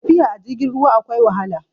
tafiya a jirgin ruwa akwai wahala